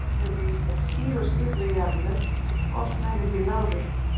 Sums staðar eru í þeim skýr og skipuleg jarðlög, oft nærri því lárétt.